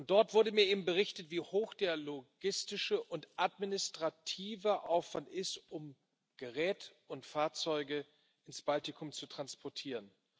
Dort wurde mir berichtet, wie hoch der logistische und administrative Aufwand ist, um Gerät und Fahrzeuge ins Baltikum zu transportieren.